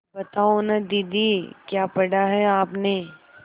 बताओ न दीदी क्या पढ़ा है आपने